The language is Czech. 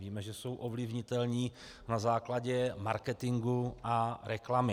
Víme, že jsou ovlivnitelní na základě marketingu a reklamy.